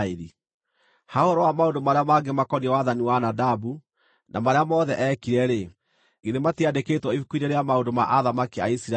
Ha ũhoro wa maũndũ marĩa mangĩ makoniĩ wathani wa Nadabu, na marĩa mothe eekire-rĩ, githĩ matiandĩkĩtwo ibuku-inĩ rĩa maũndũ ma athamaki a Isiraeli?